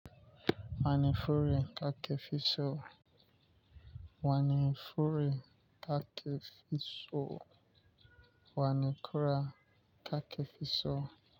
Wani fure kakefiso, wani fure kakefiso, wani kura kakefiso.